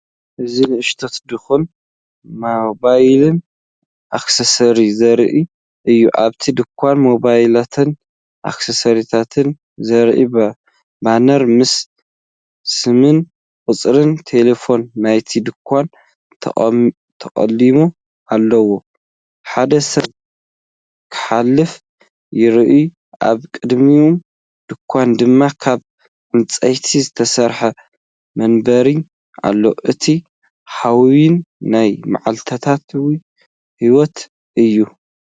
እዚ ንእሽቶ ድኳን ሞባይልን ኣክሰሰሪታትን ዘርኢ እዩ። ኣብቲ ድኳን ሞባይላትን ኣክሰሰሪታትን ዘርእዩ ባነራት ምስ ስምን ቁጽሪ ተሌፎንን ናይቲ ድኳን ተሰቒሎም ኣለዉ። ሓደ ሰብ ክሓልፍ ይረአ፡ኣብቅድሚ ድኳን ድማ ካብ ዕንጨይቲ ዝተሰርሐ መንበር ኣሎ። እቲ ሃዋህው ናይ መዓልታዊ ህይወት እዩ።